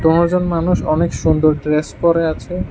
কোনজন মানুষ অনেক সুন্দর ড্রেস পরে আছে।